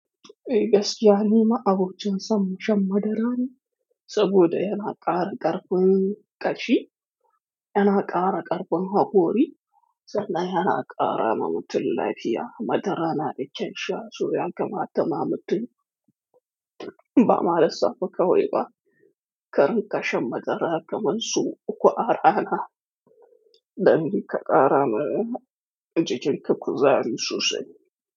E gaskiya ni ma'abocin san, shan madara ne, saboda yana ƙara ƙarfin ƙashi, yana ƙara ƙarfin hakori, sannan yana ƙara ma mutun lafiya. Madara na da kyan sha, so ya kamata ma mutum, ba ma da safa kawo ba, karinƙa shan madara kamar su uku a rana, dan ka ƙara ma jikin ka kuzari sosai.